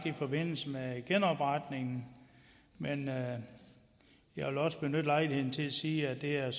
i forbindelse med genopretningen men jeg vil også benytte lejligheden til at sige at det er